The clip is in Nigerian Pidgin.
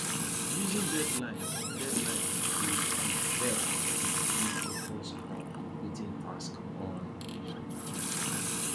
using deadlines dey deadlines dey um help um me focus on completing tasks on um time